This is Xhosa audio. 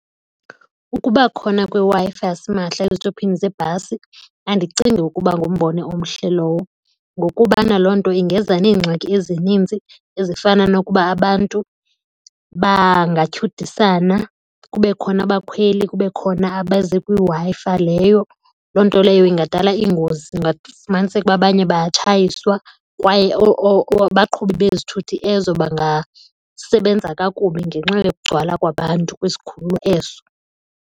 Ukuba khona kweWi-Fi yasimahla ezitopini zebhasi andicingi ukuba ngumbono omhle lowo ngokubana loo nto ingeza neengxaki ezinintsi ezifana nokuba abantu bangatyhudisana kube khona abakhweli kube khona abaze kwiWi-Fi leyo. Loo nto leyo ingadala iingozi kungafumaniseka uba abanye bayatshayiswa kwaye abaqhubi bezithuthi ezo bangasebenza kakubi ngenxa yokugcwala kwabantu kwisikhululo ezo.